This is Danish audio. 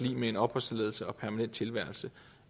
lig med en opholdstilladelse og permanent tilværelse